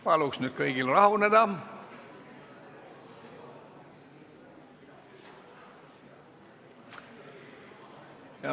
Palun nüüd kõigil rahuneda!